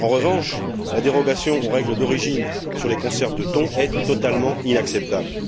En revanche, la dérogation aux règles d'origine sur les conserves de thon est totalement inacceptable.